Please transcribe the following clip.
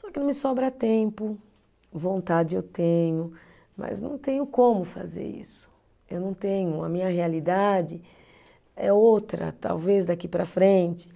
Só que não me sobra tempo, vontade eu tenho, mas não tenho como fazer isso, eu não tenho, a minha realidade é outra, talvez daqui para a frente.